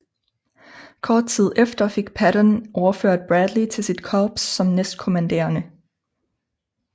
Kort tid efter fik Patton overført Bradley til sit korps som næstkommanderende